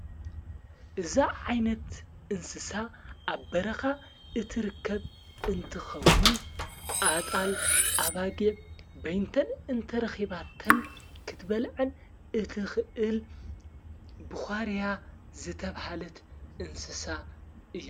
እዛ ዓይነት እንስሳ ኣብ በረኻ እትርከብ እንትኸውን ኣጣል ኣባጊ በይንተን እንተረኺባተን ክትበልዕን እት ኽእል ብዃርያ ዘተብሃለት እንስሳ እያ።